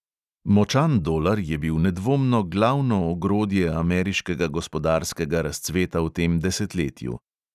"Močan" dolar je bil nedvomno glavno ogrodje ameriškega gospodarskega razcveta v tem desetletju.